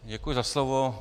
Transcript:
Děkuji za slovo.